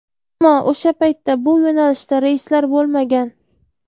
Ammo o‘sha paytda bu yo‘nalishda reyslar bo‘lmagan.